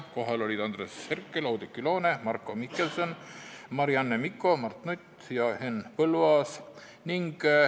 Kohal olid Andres Herkel, Oudekki Loone, Marko Mihkelson, Marianne Mikko, Mart Nutt ja Henn Põlluaas.